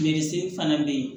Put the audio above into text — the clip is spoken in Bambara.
fana bɛ yen